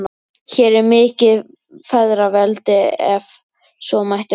Hér er mikið feðraveldi, ef svo mætti kalla.